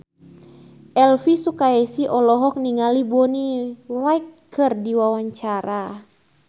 Elvy Sukaesih olohok ningali Bonnie Wright keur diwawancara